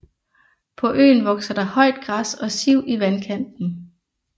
På øen vokser der højt græs og siv i vandkanten